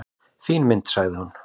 """Fín mynd, sagði hún."""